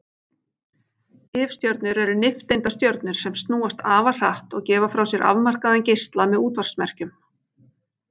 Tifstjörnur eru nifteindastjörnur sem snúast afar hratt og gefa frá sér afmarkaðan geisla með útvarpsmerkjum.